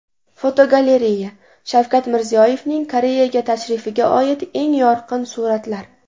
Fotogalereya: Shavkat Mirziyoyevning Koreyaga tashrifiga oid eng yorqin suratlar.